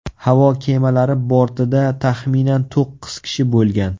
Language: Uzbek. Havo kemalari bortida taxminan to‘qqiz kishi bo‘lgan.